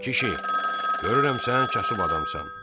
Kişi, görürəm sənin kasıb adamsan.